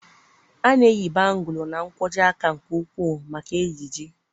A na-eyi bangụ́lụ na nkwojiaka nke ukwuu maka ejiji